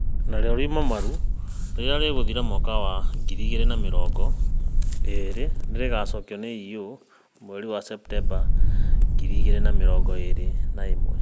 Narĩo riuma, 'Maru ', rĩrĩa rĩgũthira mwaka wa ngiri igĩrĩ na mĩrongo ĩrĩ nĩ rĩgaacokio na 'Eyo ' mweri wa Septemba ngiri igĩrĩ na mĩrongo ĩrĩ na ĩmwe.